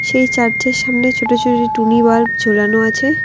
সেই চার্চ -এর সামনে ছোট ছোট টুনি বাল্ব ঝোলানো আছে।